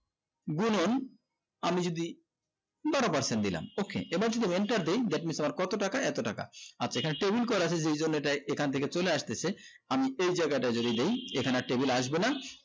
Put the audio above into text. গুনুন আমি যদি বারো percebt দিলাম okay এবার যদি wanter দেই that means তোমার কত টাকা এত টাকা আচ্ছা এখানে wheel করা হয়েছে এইজন্য এইটাই এখন থেকে চলে আসতেছে আমি এই জায়গাটায় যদি দেয় এখানে আর wheel আসবে না